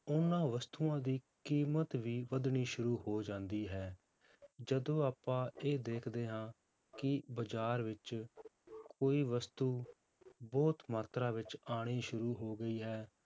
ਉਹਨਾਂ ਵਸਤੂਆਂ ਦੀ ਕੀਮਤ ਵੀ ਵੱਧਣੀ ਸ਼ੁਰੂ ਹੋ ਜਾਂਦੀ ਹੈ, ਜਦੋਂ ਆਪਾਂ ਇਹ ਦੇਖਦੇ ਹਾਂ ਕਿ ਬਾਜ਼ਾਰ ਵਿੱਚ ਕੋਈ ਵਸਤੂ ਬਹੁਤ ਮਾਤਰਾ ਵਿੱਚ ਆਉਣੀ ਸ਼ੁਰੂ ਹੋ ਗਈ ਹੈ,